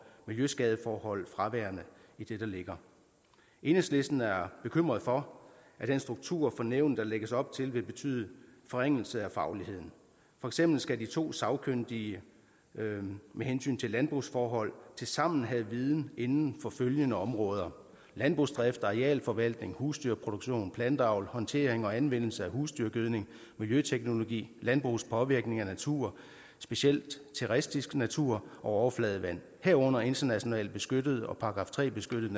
miljøskadeforhold fraværende i det der ligger enhedslisten er bekymret for at den struktur for nævnet der lægges op til vil betyde forringelser af fagligheden for eksempel skal de to sagkyndige med hensyn til landbrugsforhold tilsammen have viden inden for følgende områder landbrugsdrift arealforvaltning husdyrproduktion planteavl håndtering og anvendelse af husdyrgødning miljøteknologi landbrugets påvirkning af natur specielt terrestisk natur og overfladevand herunder internationalt beskyttede og § tre beskyttede